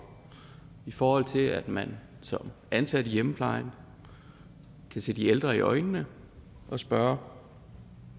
i forhold til at man som ansat i hjemmeplejen kan se de ældre i øjnene og spørge